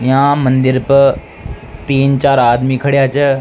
यहां मंदिर पे तीन चार आदमी खड़ेया छे।